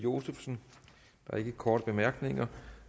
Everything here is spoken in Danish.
josefsen der er ikke korte bemærkninger